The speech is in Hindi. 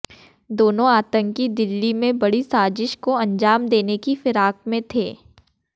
दोनों आतंकी दिल्ली में बड़ी साजिश को अंजाम देने की फिराक में थे